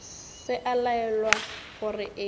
se a laelwa gore eya